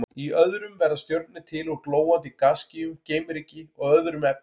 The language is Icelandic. Í öðrum verða stjörnur til úr glóandi gasskýjum, geimryki og öðrum efnum.